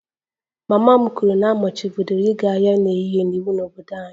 Mama m kwuru na a machibidoro ịga ahịa n'ehihie iwu n'obodo anyị